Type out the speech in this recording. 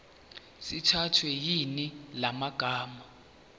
sithathwe yiningi lamalunga